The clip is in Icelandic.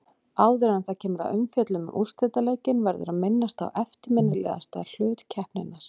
Áður en það kemur að umfjöllun um úrslitaleikinn verður að minnast á eftirminnilegasta hlut keppninnar.